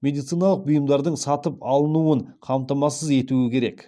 медициналық бұйымдардың сатып алынуын қамтамасыз етуі керек